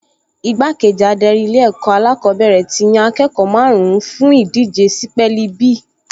Igbákejì adarí Ilé-ẹ̀kọ́ alákọ̀ọ́bẹ̀rẹ̀ ti yan akẹ́kọ̀ọ́ márùn-ún fún ìdíje sípẹ́ẹ̀lì bí